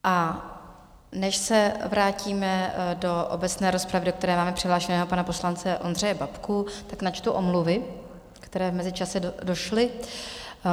A než se vrátíme do obecné rozpravy, do které máme přihlášeného pana poslance Ondřeje Babku, tak načtu omluvy, které v mezičase došly.